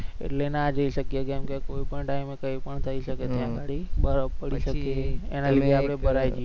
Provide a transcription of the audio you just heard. એટલે ના જઈ શકીએ કેમેકે કોઈપણ time કઈપણ થઈ શકે છે ત્યા અગાડી બરફ પડી શકે છે